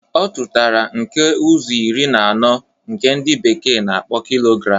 Ọ tụtara nke ụzọ iri na ọnụ nke ndi bekee na-akpọ kilogram